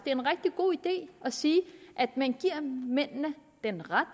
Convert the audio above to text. en rigtig god idé at sige at man giver mændene den ret